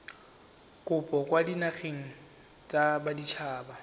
kopo kwa dinageng tsa baditshaba